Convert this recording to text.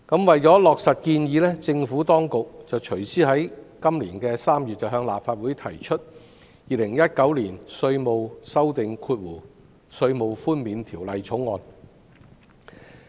為落實建議，政府當局隨之在今年3月向立法會提交《2019年稅務條例草案》。